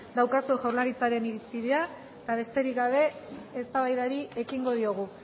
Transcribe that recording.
daukazue jaurlaritzaren irizpidea eta besterik gabe eztabaidari ekingo diogu